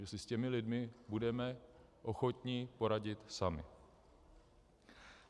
My si s těmi lidmi budeme ochotni poradit sami.